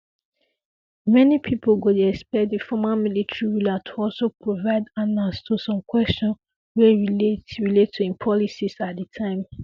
many pipo go dey expect di former military ruler to also provide ansas to some questions wey relate relate to im policies at di time